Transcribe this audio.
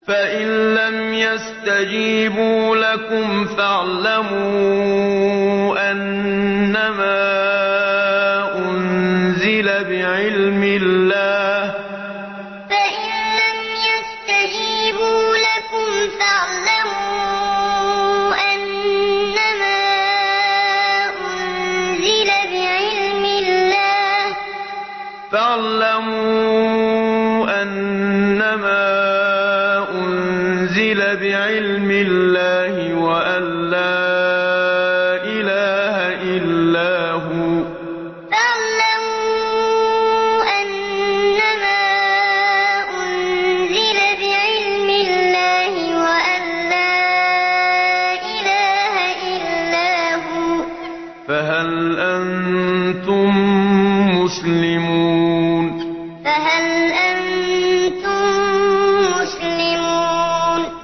فَإِلَّمْ يَسْتَجِيبُوا لَكُمْ فَاعْلَمُوا أَنَّمَا أُنزِلَ بِعِلْمِ اللَّهِ وَأَن لَّا إِلَٰهَ إِلَّا هُوَ ۖ فَهَلْ أَنتُم مُّسْلِمُونَ فَإِلَّمْ يَسْتَجِيبُوا لَكُمْ فَاعْلَمُوا أَنَّمَا أُنزِلَ بِعِلْمِ اللَّهِ وَأَن لَّا إِلَٰهَ إِلَّا هُوَ ۖ فَهَلْ أَنتُم مُّسْلِمُونَ